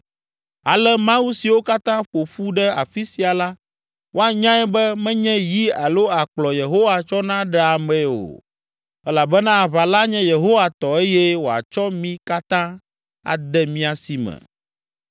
Ale ame siwo katã ƒo ƒu ɖe afi sia la woanyae be menye yi alo akplɔ Yehowa tsɔna ɖea ame o, elabena aʋa la nye Yehowa tɔ eye wòatsɔ mi katã ade mía si me.”